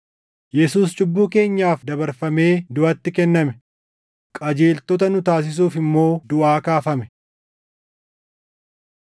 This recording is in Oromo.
Yesuus cubbuu keenyaaf dabarfamee duʼatti kenname; qajeeltota nu taasisuuf immoo duʼaa kaafame.